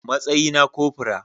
Matsayi na cofora